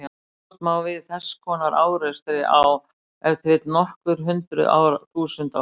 Búast má við þess konar árekstri á ef til vill nokkur hundruð þúsund ára fresti.